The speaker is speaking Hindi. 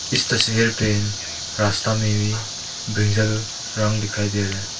इस तस्वीर पे रास्ता में भी ब्रिंजल रंग दिखाई दे रहे हैं।